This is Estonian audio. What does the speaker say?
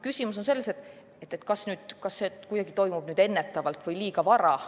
Küsimus on selles, kas see toimub kuidagi ennetavalt või liiga vara.